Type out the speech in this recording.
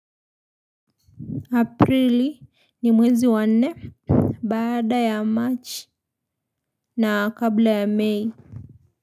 Aprili ni mwezi wa nne bada ya march na kabla ya may.